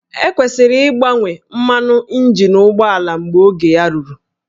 E kwesịrị ịgbanwe mmanụ injin ụgbọala mgbe oge ya ruru